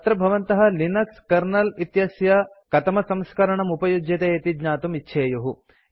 अत्र भवन्तः Linux kernel इत्यस्य कतमसंस्करणम् उपयुज्यते इति ज्ञातुं इच्छेयुः